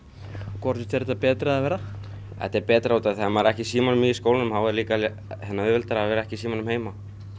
hvort finnst þér þetta betra eða verra þetta er betra út af því að ef maður er ekki í símanum í skólanum þá er líka auðveldara að vera ekki í símanum heima